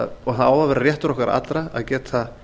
að vera réttur okkar allra að geta